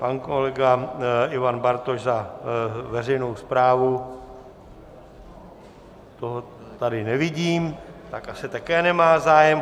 Pan kolega Ivan Bartoš za veřejnou správu, toho tady nevidím, tak asi také nemá zájem.